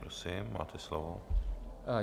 Prosím, máte slovo.